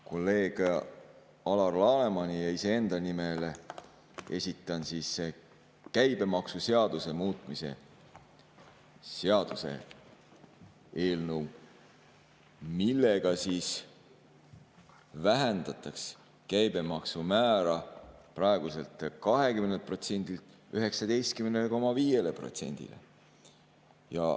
Kolleeg Alar Lanemani ja iseenda nimel esitan käibemaksuseaduse muutmise seaduse eelnõu, millega vähendataks käibemaksumäära praeguselt 20%‑lt 19,5%‑le.